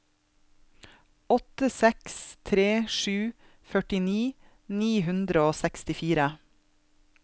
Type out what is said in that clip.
åtte seks tre sju førtini ni hundre og sekstifire